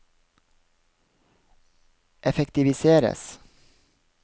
effektiviseres